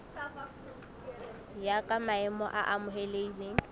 ya ka maemo a amohelehileng